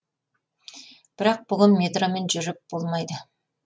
бірақ бүгін метромен жүріп болмайды